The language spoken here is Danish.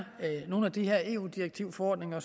nogle af de her eu direktiver og forordninger